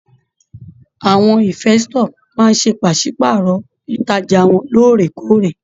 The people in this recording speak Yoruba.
Àwọn ìnfestọ̀ máa n se pàsepàárọ̀ ìtajà wọn lóòrèkóòrè.